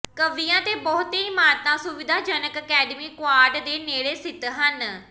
ਕਵੀਆਂ ਦੇ ਬਹੁਤੇ ਇਮਾਰਤਾਂ ਸੁਵਿਧਾਜਨਕ ਅਕੈਡਮੀ ਕੁਆਡ ਦੇ ਨੇੜੇ ਸਥਿਤ ਹਨ